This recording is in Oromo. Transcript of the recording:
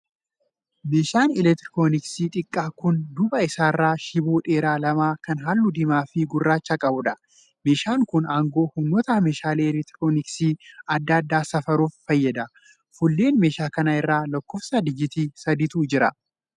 Meeshaa 'elektirooniksii' xiqqaa kan duuba isaa irraa shiboo dheeraa lama kan halluu diimaa fi gurraacha qabuudha. Meeshaan kun aangoo humnoota meeshaalee 'elektirooniksi' adda addaa safaruuf fayyada. Fuullee meeshaa kanaa irra lakkoofsa digiitii sadiitu jira.